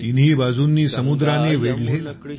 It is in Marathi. तिन्ही बाजूंनी समुद्राने वेढलेला